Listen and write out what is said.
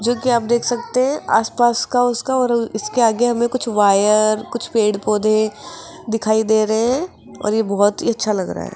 जो की आप देख सकते है आस पास का उसका और उसके आगे हमें कुछ वायर कुछ पेड़ पौधे दिखाई दे रहे हैं और ये बहोत ही अच्छा लग रहा है।